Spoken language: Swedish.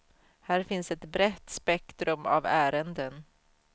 Här finns ett brett spektrum av ärenden.